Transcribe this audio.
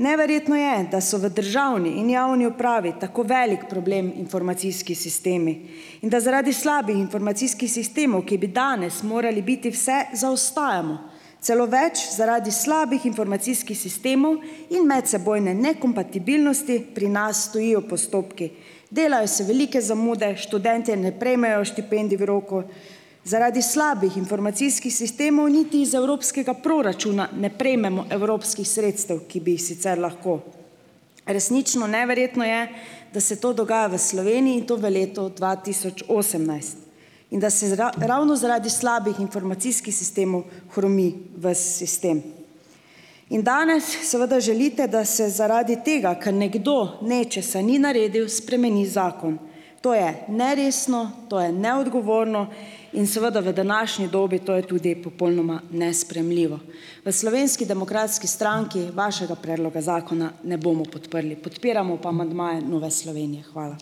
Neverjetno je, da so v državni in javni upravi tako velik problem informacijski sistemi in da zaradi slabih informacijskih sistemov, ki bi danes morali biti vse, zaostajamo. Celo več, zaradi slabih informacijskih sistemov in medsebojne nekompatibilnosti pri nas stojijo postopki, delajo se velike zamude, študentje ne prejmejo štipendij v roku. Zaradi slabih informacijskih sistemov niti iz evropskega proračuna ne prejmemo evropskih sredstev, ki bi jih sicer lahko. Resnično neverjetno je, da se to dogaja v Sloveniji, in to v letu dva tisoč osemnajst, in da se ravno zaradi slabih informacijskih sistemov hromi ves sistem. In danes seveda želite, da se zaradi tega, ker nekdo nečesa ni naredil, spremeni zakon. To je neresno, to je neodgovorno in seveda v današnji dobi to je tudi popolnoma nesprejemljivo. V Slovenski demokratski stranki vašega predloga zakona ne bomo podprli. Podpiramo pa amandmaje Nove Slovenije. Hvala.